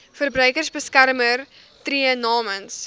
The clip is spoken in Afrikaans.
verbruikersbeskermer tree namens